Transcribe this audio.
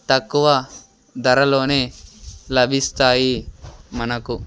తక్కువ ధరలోనే లభిస్తాయి మనకు--